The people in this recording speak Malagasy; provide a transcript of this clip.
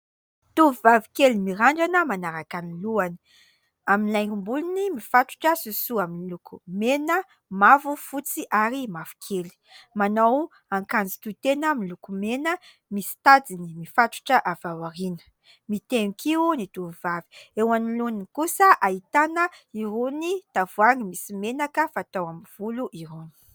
Tovovavy kely mirandrana manaraka ny lohany. Amin'ny laingom-bolony mifatotra : sosoa miloko mena, mavo, fotsy ary mavokely. Manao akanjo tohitena miloko mena misy tadiny mifatotra avy ao aoriana. Mitehin-kiho ny tovovavy. Eo anoloany kosa, ahitana irony tavoahangy misy menaka fatao amin'ny volo irony.